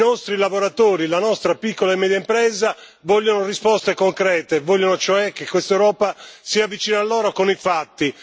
I nostri lavoratori, la nostra piccola e media impresa vogliono risposte concrete, vogliono cioè che questa Europa sia vicina a loro con i fatti.